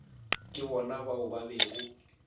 ke bona bao ba bego